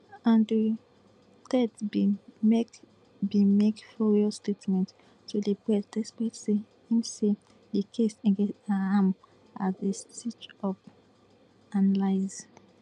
andrew tate bin make bin make furious statement to di press despite say im say di case against am as a stitchup and lies